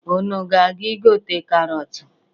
Unu ga-aga igote karọtụ?